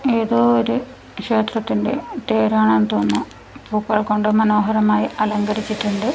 ഏതോ ഒരു ക്ഷേത്രത്തിന്റെ പേരാണെന്നു തോന്നുന്നു പൂക്കൾ കൊണ്ട് മനോഹരമായി അലങ്കരിച്ചിട്ടുണ്ട്.